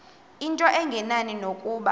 into engenani nokuba